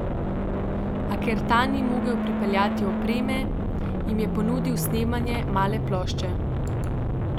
A ker ta ni mogel pripeljati opreme, jim je ponudil snemanje male plošče.